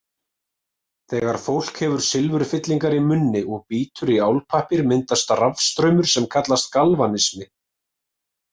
Þegar fólk hefur silfurfyllingar í munni og bítur í álpappír myndast rafstraumur sem kallast galvanismi.